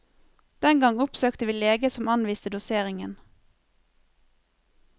Den gang oppsøkte vi lege som anviste doseringen.